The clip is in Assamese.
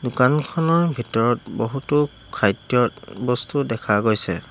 দোকানখনৰ ভিতৰত বহুতো খাদ্যবস্তু দেখা গৈছে।